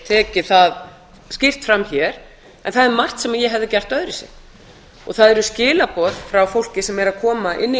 tekið það skýrt fram hér en það er margt sem ég hefði gert öðruvísi og það eru skilaboð frá fólki sem er að koma inn í